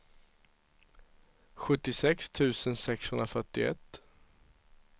sjuttiosex tusen sexhundrafyrtioett